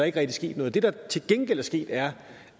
ikke rigtig sket noget det der til gengæld er sket er